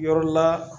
Yɔrɔ la